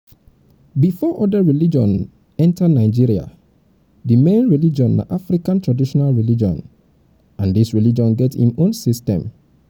before oda religion oda religion enter nigeria di main religion na african traditional religion and this religion get im own um system